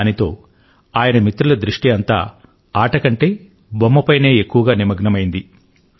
దాంతో ఆయన మిత్రుల దృష్టి అంతా ఆట కంటే బొమ్మపైనే ఎక్కువగా నిమగ్నమైంది